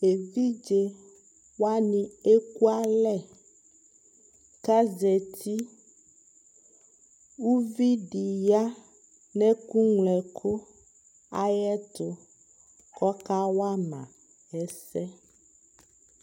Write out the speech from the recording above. ɛvidzɛ waniɛkʋ alɛ kʋ azati, ʋvi di ya nʋ ɛkʋ mlɔ ɛkʋ ayɛtʋ kʋ ɔka wama ɛsɛ